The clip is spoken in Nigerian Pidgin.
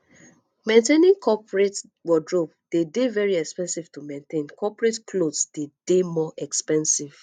maintaining coperate wordrobe dey de very expensive to maintain coperate cloth dey more expensive